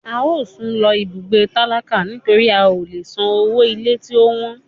A o sún lo ibùgbé tálákà nitori a o lè sán ọwọ ilé tí o wọ́n.